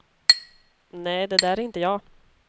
Nej, det där är inte jag.